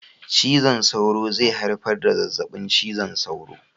Cizon sauro zai haifar da zazzaɓin cizon sauro